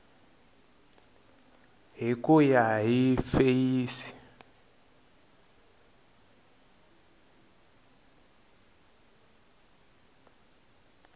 hi ku ya hi feyisi